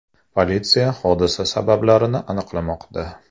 Politsiya hodisa sabablarini aniqlamoqda.